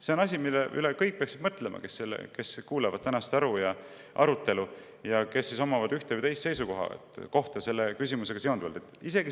See on asi, mille peale kõik peaksid mõtlema: kõik, kes kuulavad tänast arutelu ja omavad selles küsimuses üht või teist seisukohta.